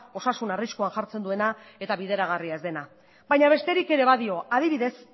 osasuna arriskuan jartzen duena eta bideragarria ez dena baina besterik ere badio adibidez